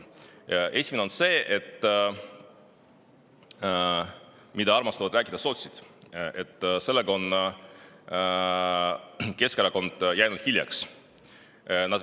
Esimene on see, millest armastavad rääkida sotsid: sellega on Keskerakond hiljaks jäänud.